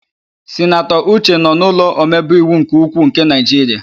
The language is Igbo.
Sinatọ Uche nọ n'ụlọ omebeiwu nke ukwuu nke Naịjiria.